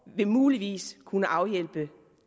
vil muligvis kunne afhjælpe